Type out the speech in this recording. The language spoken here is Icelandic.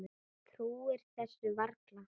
Trúir þessu varla.